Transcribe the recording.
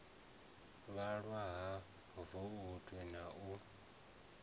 vhalwa ha voutu na u